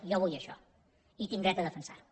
i jo vull això i tinc dret a defensar ho